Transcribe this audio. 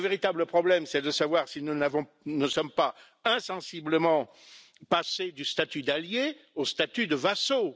Le véritable problème est de savoir si nous ne sommes pas insensiblement passés du statut d'alliés au statut de vassaux.